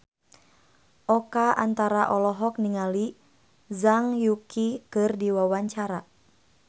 Oka Antara olohok ningali Zhang Yuqi keur diwawancara